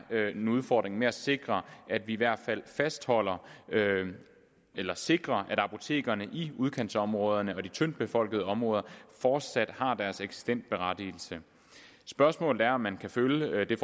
er en udfordring at sikre at vi i hvert fald fastholder eller sikrer at apotekerne i udkantsområderne og de tyndt befolkede områder fortsat har deres eksistensberettigelse spørgsmålet er om man kan følge det